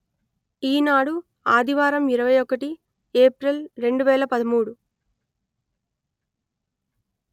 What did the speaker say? ఈనాడు ఆదివారం ఇరవై ఒకటి ఏప్రిల్ రెండు వేల పదమూడు